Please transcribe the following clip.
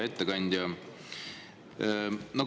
Hea ettekandja!